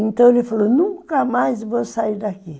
Então ele falou, nunca mais vou sair daqui.